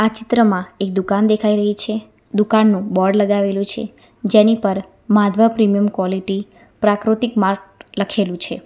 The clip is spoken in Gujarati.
ચિત્રમાં એક દુકાન દેખાય રહી છે દુકાનનું બોર્ડ લગાવેલું છે જેની પર માધવા પ્રીમિયમ ક્વોલિટી પ્રાકૃતિક માર્ટ લખેલુ છે.